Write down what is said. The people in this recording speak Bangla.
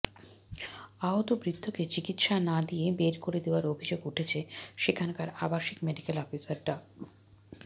আহত বৃদ্ধকে চিকিৎসা না দিয়ে বের করে দেওয়ার অভিযোগ উঠেছে সেখানকার আবাসিক মেডিকেল অফিসার ডা